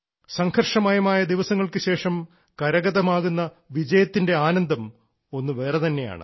സംഘർഷമയമായ ദിവസങ്ങൾക്കുശേഷം കരഗതമാകുന്ന വിജയത്തിൻറെ ആനന്ദം ഒന്നു വേറെതന്നെയാണ്